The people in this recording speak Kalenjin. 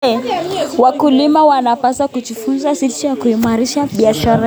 Wakulima wanapaswa kujifunza jinsi ya kuimarisha biashara zao.